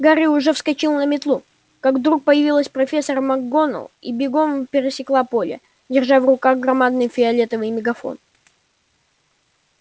гарри уже вскочил на метлу как вдруг появилась профессор макгонагалл и бегом пересекла поле держа в руках громадный фиолетовый мегафон